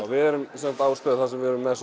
við erum á bás þar sem við erum með